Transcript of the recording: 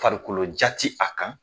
Farikolo ja tɛ a kan.